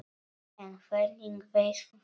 En hvernig veist þú þetta?